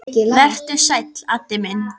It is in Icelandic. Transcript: sagði Kata stúrin.